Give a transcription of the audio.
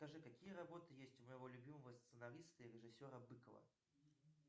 скажи какие работы есть у моего любимого сценариста и режиссера быкова